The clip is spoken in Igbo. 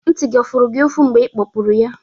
Ntị gị ọ furu gị ufu mgbe ị kpọpụrụ ya?